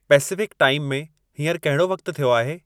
Pacific time में हींअर कहिड़ो वक़्तु थियो आहे